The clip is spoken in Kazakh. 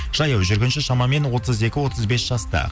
жаяу жүргінші шамамен отыз екі отыз бес жаста